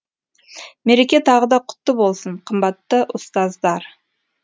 мереке тағы да құтты болсын қымбатты ұстаздар